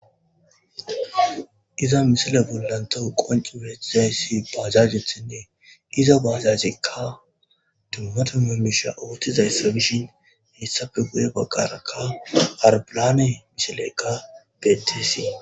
Iza misilen bollan tawu qonc'i betizay bajajethinnee iza bajajekka dumma dumma misha othizaysa gidishin hessape guye baggarakka arbilane misileykka betisi